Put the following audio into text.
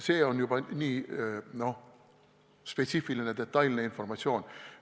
See on juba nii spetsiifiline ja detailne informatsioon.